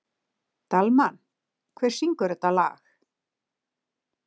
Dalmann, hver syngur þetta lag?